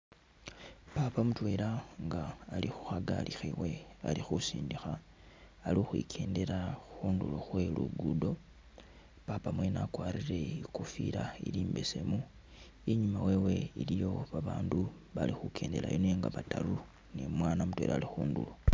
Papa mutwela nga ali khu khagali khewe ali khusindikha ali ukhwikyendela khundulo khwe lugudo, papa mwene wakwarire ikofila ili imbesemu, inyuma wewe iliyo babandu bali khukyendelayo nenga bataru ni umwana mutwela ali khundulo.